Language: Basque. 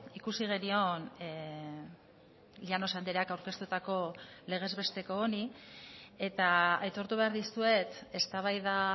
ikusi genion llanos andreak aurkeztutako legez besteko honi eta aitortu behar dizuet eztabaida